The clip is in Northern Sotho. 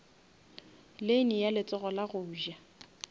lane ya letsogo la goja